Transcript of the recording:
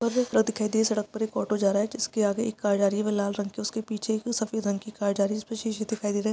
सड़क पर एक ऑटो जा रहा है। जिसके आगे एक कार जा रही वो लाल रंग की उसके पीछे वो सफ़ेद रंग की कार जा रही उसपे शीशे दिखाई दे रहे है।